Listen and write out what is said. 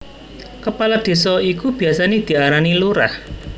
Kepala Désa iku biasané diarani Lurah